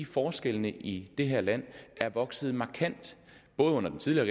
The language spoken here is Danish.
forskellene i det her land er vokset markant både under den tidligere